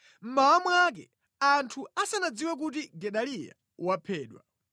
Mmawa mwake, anthu asanadziwe kuti Gedaliya waphedwa,